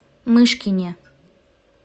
мышкине